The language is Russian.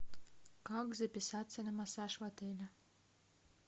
как записаться на массаж в отеле